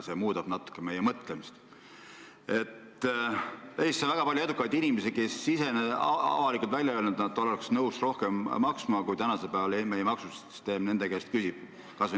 See muudab natuke meie mõtlemist: Eestis on väga palju edukaid inimesi, kes on avalikult välja öelnud, et nad oleks nõus rohkem maksma, kui maksusüsteem nende käest praegu küsib.